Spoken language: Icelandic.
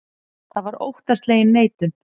Það var óttaslegin neitun.